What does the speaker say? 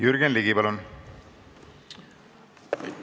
Jürgen Ligi, palun!